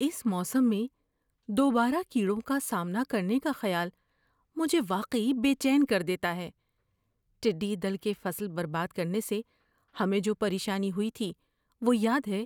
اس موسم میں دوبارہ کیڑوں کا سامنا کرنے کا خیال مجھے واقعی بے چین کر دیتا ہے۔ ٹڈی دل کے فصل برباد کرنے سے ہمیں جو پریشانی ہوئی تھی وہ یاد ہے؟